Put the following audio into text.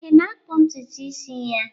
Ị na-akpụ ntutu isi ya?